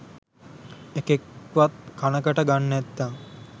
එකෙක්වත් කනකට ගන් නැත්තං